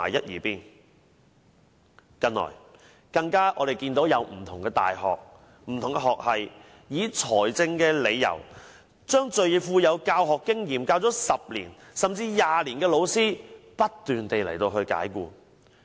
我們近來更看到不同的大學學系，以財政理由不斷解僱已任教10年、甚至20年最具教學經驗的老師。